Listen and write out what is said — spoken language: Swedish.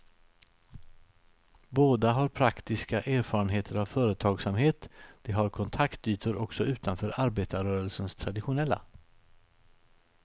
Båda har praktiska erfarenheter av företagsamhet, de har kontaktytor också utanför arbetarrörelsens traditionella.